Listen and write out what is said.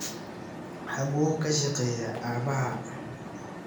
Xagu ka shaqeyaa Aabahaa?